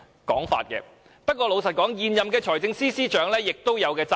但是，坦白說，現任財政司司長對此亦有責任。